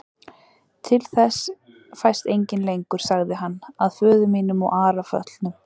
Til þess fæst enginn lengur, sagði hann,-að föður mínum og Ara föllnum.